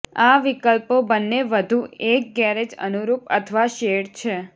આ વિકલ્પો બંને વધુ એક ગેરેજ અનુરૂપ અથવા શેડ છે